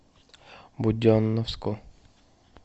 буденновску